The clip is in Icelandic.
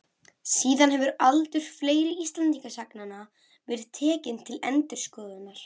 Síðan hefur aldur fleiri Íslendingasagna verið tekinn til endurskoðunar.